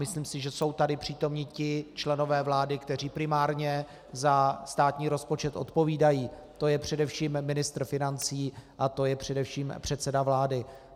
Myslím si, že jsou tady přítomni ti členové vlády, kteří primárně za státní rozpočet odpovídají, to je především ministr financí a to je především předseda vlády.